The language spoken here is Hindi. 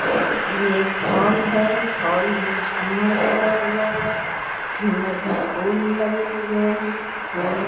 यह एक हॉल है। हॉल में झूमर लगा हुआ है। झूमर में फूल लगे हुए हैं। फूल --